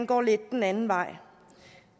går lidt den anden vej